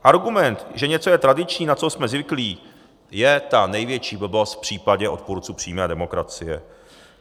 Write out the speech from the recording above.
Argument, že něco je tradiční, na co jsme zvyklí, je ta největší blbost v případě odpůrců přímé demokracie.